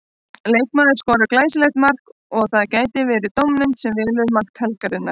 Leikmaður skorar glæsilegt mark og það gæti verið dómnefnd sem velur mark helgarinnar.